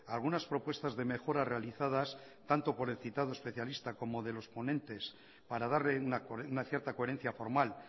algunas propuestas de mejora realizadas tanto el citado especialista como de los ponentes para darle una cierta coherencia formal